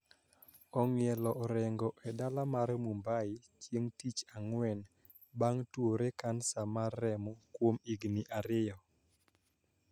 Ong`ielo orengo e dala mar Mumbai chieng` tich Ang`wen bang` tuore kansa mar remo kuom higni ariyo